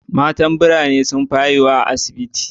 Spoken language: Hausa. Matan birane sun fi haihuwa a asibiti.